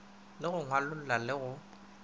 le go ngwalolla le go